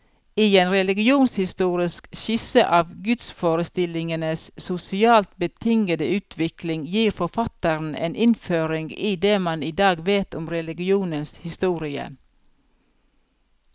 I en religionshistorisk skisse av gudsforestillingenes sosialt betingede utvikling, gir forfatteren en innføring i det man i dag vet om religionens historie.